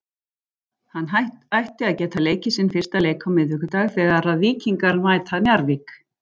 Hann ætti að geta leikið sinn fyrsta leik á miðvikudag þegar að Víkingar mæta Njarðvík.